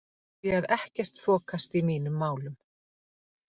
Ég sé að ekkert þokast í mínum málum.